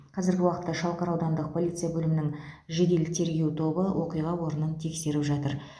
қазіргі уақытта шалқар аудандық полиция бөлімінің жедел тергеу тобы оқиға орнын тексеріп жатыр